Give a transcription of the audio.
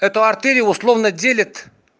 эту артерию условно делят